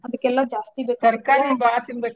ಅದಕ್ಕ್ ಎಲ್ಲಾ ಜಾಸ್ತಿ .